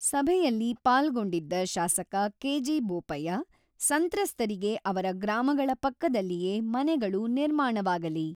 ಸಭೆಯಲ್ಲಿ ಪಾಲ್ಗೊಂಡಿದ್ದ ಶಾಸಕ ಕೆ.ಜಿ.ಬೋಪಯ್ಯ, ಸಂತ್ರಸ್ತರಿಗೆ ಅವರ ಗ್ರಾಮಗಳ ಪಕ್ಕದಲ್ಲಿಯೇ ಮನೆಗಳು ನಿರ್ಮಾಣವಾಗಲಿ.